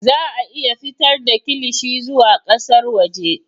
Za a iya fitar da kilishi zuwa ƙasar waje